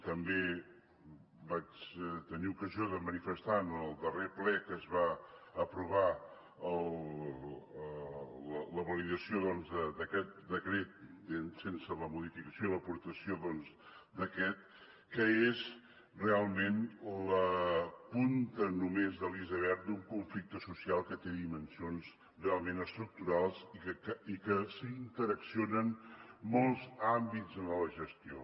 també vaig tenir ocasió de manifestar en el darrer ple en què es va aprovar la validació doncs d’aquest decret sense la modificació i l’aportació d’aquest que és realment la punta només de l’iceberg d’un conflicte social que té dimensions realment estructurals i que hi interaccionen molts àmbits en la gestió